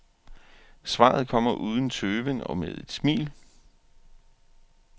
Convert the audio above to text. Svaret kommer uden tøven og med et smil.